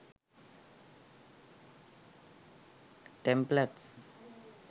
templates